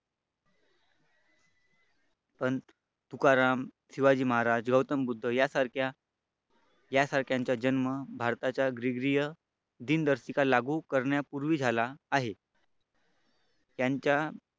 संत तुकाराम शिवाजी महाराज गौतम बुद्ध यांच्या यासारख्यांचा जन्म भारताच्या ग्रीग्रिय दिनदर्शिका लागू करण्यापूर्वी झाला आहे. यांच्या